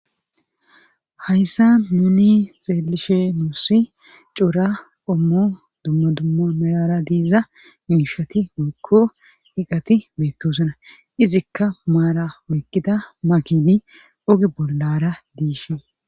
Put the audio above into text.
hayssa nuni xeelishe nuusi cora qommo dumma dumma melara diiza miishati wekko iqati beettosana izikka maara oykkida makini oge bollara diishe